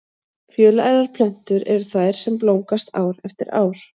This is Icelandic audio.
Fjölærar plöntur eru þær sem blómgast ár eftir ár.